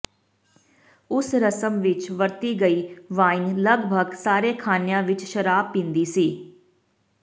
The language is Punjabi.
ਉਸ ਰਸਮ ਵਿਚ ਵਰਤੀ ਗਈ ਵਾਈਨ ਲਗਭਗ ਸਾਰੇ ਖਾਣਿਆਂ ਵਿਚ ਸ਼ਰਾਬ ਪੀਂਦੀ ਸੀ